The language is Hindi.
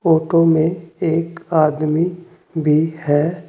ऑटो में एक आदमी भी है।